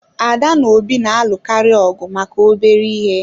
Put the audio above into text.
Ada na Obi na-alụkarị ọgụ maka obere ihe